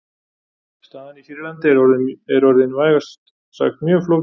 Staðan í Sýrlandi er orðin vægast sagt mjög flókin.